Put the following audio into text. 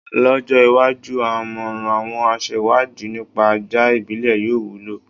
Lọ́jọ́ iwájú, àmọ̀ràn àwọn aṣewádìí nípa ajá ìbílẹ̀ yóò wúlò.